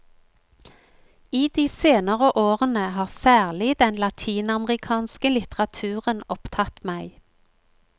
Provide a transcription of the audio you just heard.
I de senere årene har særlig den latinamerikanske litteraturen opptatt meg.